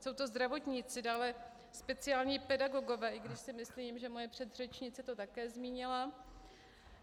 Jsou to zdravotníci, dále speciální pedagogové, i když si myslím, že moje předřečnice to také zmínila.